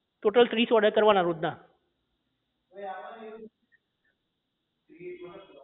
total ત્રીસ order કરવાના રોજ ના